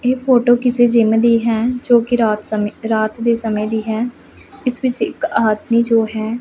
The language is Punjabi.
ਇਹ ਫੋਟੋ ਕਿਸੇ ਜਿੱਮ ਦੀ ਹੈ ਜੋਕਿ ਰਾਤ ਸਮੇਂ ਰਾਤ ਦੇ ਸਮੇਂ ਦੀ ਹੈ ਇੱਸ ਵਿੱਚ ਇੱਕ ਆਦਮੀ ਜੋ ਹੈ --